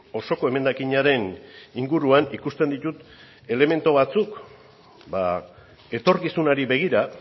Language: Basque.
osoko emendakinaren inguruan ikusten ditut elementu batzuk etorkizunari begira